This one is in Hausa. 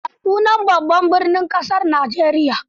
Ya sunan Babban birnin Kasar Najeriya?